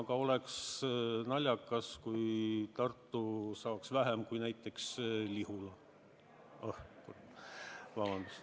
Aga oleks naljakas, kui Tartu saaks vähem kui näiteks Lihula.